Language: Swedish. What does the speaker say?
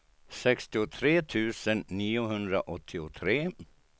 sextiotre tusen niohundraåttiotre